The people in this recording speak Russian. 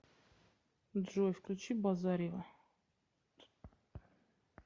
джой включи базарьева